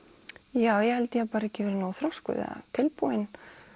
já ég held ég hafi bara ekki verið nógu þroskuð eða tilbúin